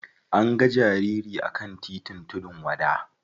An ga jariri a kan titin tudun wada.